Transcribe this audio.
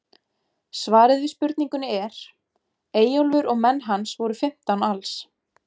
Svarið við spurningunni er: Eyjólfur og menn hans voru fimmtán alls.